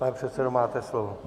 Pane předsedo, máte slovo.